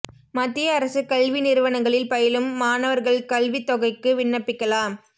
மத்திய அரசு கல்வி நிறுவனங்களில் பயிலும் மாணவா்கள் கல்வித் தொகைக்கு விண்ணப்பிக்கலாம்